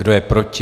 Kdo je proti?